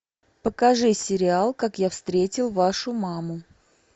покажи сериал как я встретил вашу маму